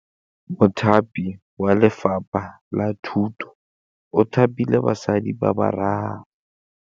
Mothapi wa Lefapha la Thutô o thapile basadi ba ba raro.